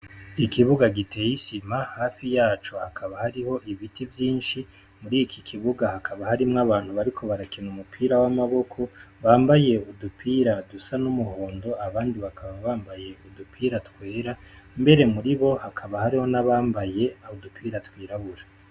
Ikibuga giteye isima hafi yaco hakaba hariho ibiti vyinshi muri iki kibuga hakaba harimwo abantu bariko barakina umupira w'amaboko bambaye udupira dusa n'umuhondo ,abandi bakaba bambaye udupira twera ,mbere muriho hakaba hariho abambaye udupira twirabura.